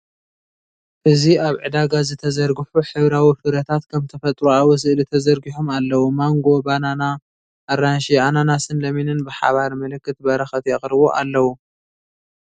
እዚ ኣብ ዕዳጋ ዝተዘርግሑ ሕብራዊ ፍረታት ከም ተፈጥሮኣዊ ስእሊ ተዘርጊሖም ኣለዉ። ማንጎ፡ ባናና፡ ኣራንሺ፡ ኣናናስን ለሚንን ብሓባር ምልክት በረኸት የቕርቡ ኣለው።